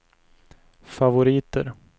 favoriter